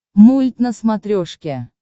мульт на смотрешке